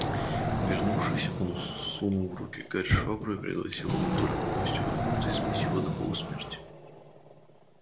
вернувшись он сунул в руки гарри швабру и пригрозил вот только гости уйдут избить его до полусмерти